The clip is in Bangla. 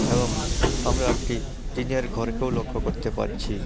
এবং আমরা একটি টিনের ঘরকেও লক্ষ্য করতে পারছি।